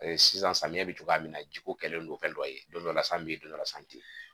sisan samiya be cogoya min na ji ko kɛlen don fɛn dɔ ye, don dɔ la san be ye don dɔ la san te ye.